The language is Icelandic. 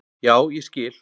Já, ég skil